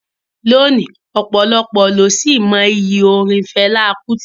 Lónìí, ọ̀pọ̀lọpọ̀ ló sì mọ iyì orin Fẹlá Kútì